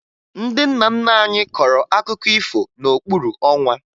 Ndị nna nna anyị kọrọ akụkọ ifo n'okpuru ọnwa